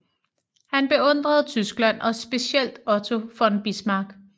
Han beundrede Tyskland og specielt Otto von Bismarck